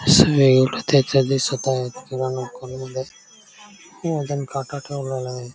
अस वेगळं त्याच्यात दिसत आहे वजन काटा ठेवलेला आहे.